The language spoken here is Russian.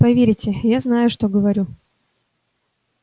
поверьте я знаю что говорю